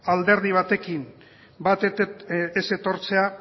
alderdi batekin bat ez etortzea